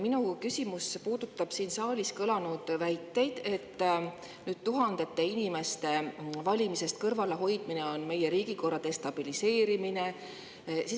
Minu küsimus puudutab siin saalis kõlanud väiteid, et tuhandete inimeste valimistest kõrvale on meie riigikorra destabiliseerimine.